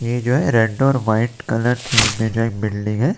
ये जो है रेड और व्हाइट कलर की बिल्डिंग हैं।